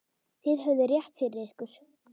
Þið höfðuð rétt fyrir ykkur.